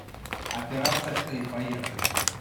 операция ы поехали